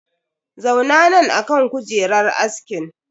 Zauna nan akan kujerar askin!